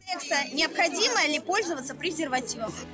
необходимо или пользоваться презервативом